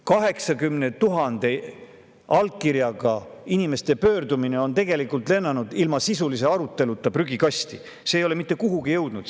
80 000 allkirjaga pöördumine on tegelikult lennanud ilma sisulise aruteluta prügikasti, see ei ole mitte kuhugi jõudnud.